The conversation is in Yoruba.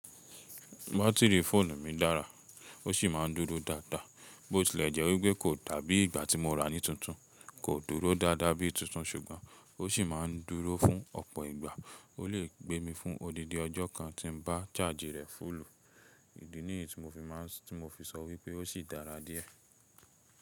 Batiri fóònù mi dára, o si máà ń dúró dáadáa. Bo tilẹ̀ jẹ́ wípé kò dàbí ìgbà tí mo ra ni tuntun, kò dúró dáadáa bí tuntun, ṣùgbọ́n o sì máà ń dúró fún ọ̀pọ̀ ìgbà. O le gbé mi fún odindi ọjọ́ kan tí mo bá chaaji rẹ̀ fúùlù. Idi ni tí mo fi máà ń sọ wípé o sì dára díẹ̀.